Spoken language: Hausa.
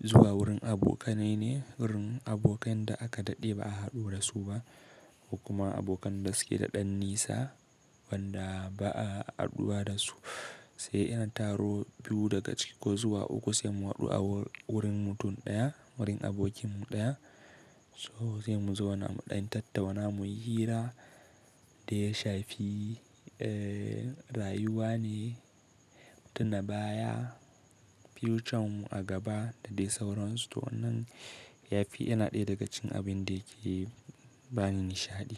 zuwa wurin abokanai ne, irin abokan da aka daɗe ba a haɗu da su ba, ko kuma abokan da suke da ɗan nisa wanda ba a haɗuwa da su. Sai iya taro biyu daga ciki ko zuwa uku sai mu haɗu a wurin mutum ɗaya, wurin abokinmu ɗaya. So sai mu zo muɗan tattauna muyi hira daya shafi rayuwa ne, tuna baya, future mu a gaba da dai sauransu to wannan yafi yana ɗaya daga cikin abin da yake bani nishaɗi.